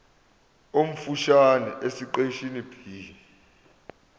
omfushane esiqeshini b